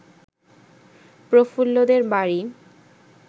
প্রফুল্লদের বাড়ি